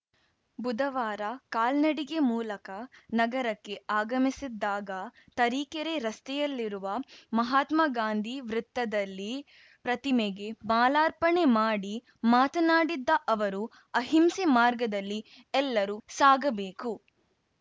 ಬುಧವಾರ ಕಾಲ್ನಡಿಗೆ ಮೂಲಕ ನಗರಕ್ಕೆ ಆಗಮಿಸಿದ್ದಾಗ ತರೀಕೆರೆ ರಸ್ತೆಯಲ್ಲಿರುವ ಮಹಾತ್ಮಗಾಂಧಿ ವೃತ್ತದಲ್ಲಿ ಪ್ರತಿಮೆಗೆ ಮಾಲಾರ್ಪಣೆ ಮಾಡಿ ಮಾತನಾಡಿದ್ದ ಅವರು ಅಹಿಂಸೆ ಮಾರ್ಗದಲ್ಲಿ ಎಲ್ಲರೂ ಸಾಗಬೇಕು